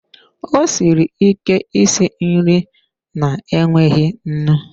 Ọ siri ike isi nri na-enweghị nnu.